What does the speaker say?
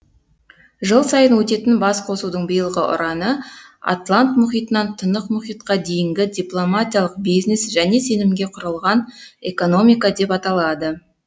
жыл сайын өтетін басқосудың биылғы ұраны атлант мұхитынан тынық мұхитқа дейінгі дипломатиялық бизнес және сенімге құрылған экономика деп аталады